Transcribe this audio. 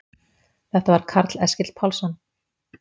Þetta var Karl Eskil Pálsson.